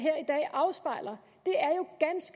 afspejler